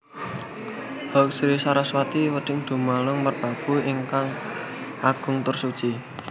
Hong Sri Saraswati redi Damalung Merbabu ingkang agung tur suci